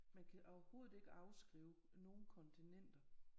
Man kan overhovedet ikke afskrive nogen kontinenter